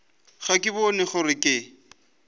ga ke bone gore ke